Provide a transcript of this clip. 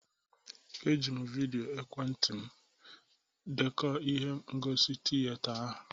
E jiri m vịdịo ekwentị m dekọ ihe ngosi tịyeta ahụ.